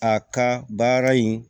A ka baara in